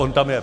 On tam je.